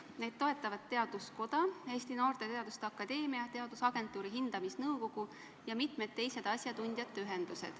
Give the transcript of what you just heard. Neid toetavad Eesti Teaduskoda, Eesti Noorte Teaduste Akadeemia, Eesti Teadusagentuuri hindamisnõukogu ja mitmed teised asjatundjate ühendused.